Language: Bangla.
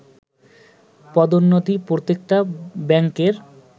পদোন্নতি প্রত্যেকটা ব্যাংকের